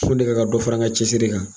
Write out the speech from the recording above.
Fo ne ka ka dɔ fara ŋa cɛsiri kan